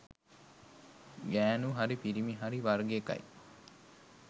ගෑනු හරි පිරිමි හරි වර්ග එකයි.